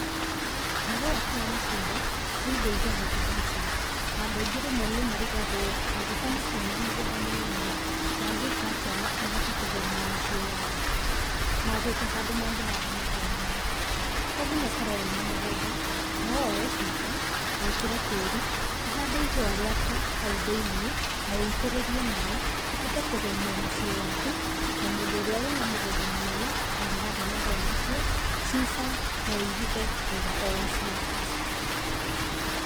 Mahũa kana matunda nĩ indo igemagia mũciĩ, na andũ aingĩ rĩmwe nĩmarigagwo angikorwo matirĩ na mũgũnda mũnene rĩ mangĩkatĩa mahote kũgemia mĩciĩ yao magĩte handũ mangĩhanda mahũa maya, tonginya ũkorwe wĩna mũgũnda nowoe cuba, wĩkĩre tĩri, ũhande ihũa rĩaku hau thĩinĩ, na weitĩrĩrie maĩ ũhote kũgemia mũciĩ waku ota mũndũ ũrĩa wĩna mũgúnda mũnene angĩhanda mahũa macio cuba noirute owĩra ũcio.